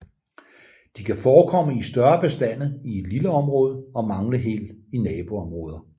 De kan forekomme i større bestande i et lille område og mangle helt i naboområder